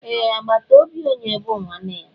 Ee, àgbàtà óbị onye bú nwanne ya